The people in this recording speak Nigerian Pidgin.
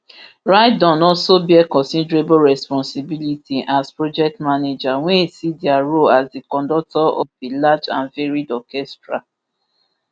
rydon also bear considerable responsibility as project manager wey see dia role as di conductor of a large and varied orchestra